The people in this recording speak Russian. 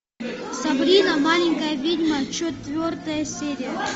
сабрина маленькая ведьма четвертая серия